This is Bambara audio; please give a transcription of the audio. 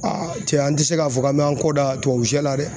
cɛ an ti se k'a fɔ k'an mɛ an kɔ da tuwawu sɛ la dɛ.